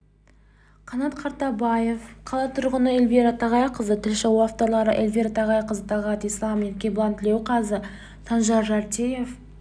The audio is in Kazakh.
қанат қартабаев қала тұрғыны эльвира тағайқызы тілші авторлары эльвира тағайқызы талғат ислам ерекебұлан тілеуқазы санжар жартиев